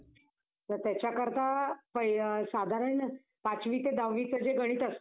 जास्त संध्याकाळी रात्री असतंय gathering. दिवसा सहासाडे वाजता चालू होतंय.